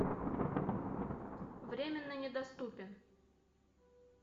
временно недоступен